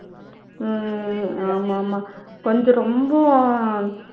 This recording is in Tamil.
உம் ஆமா ஆமா கொஞ்சம் ரொம்ப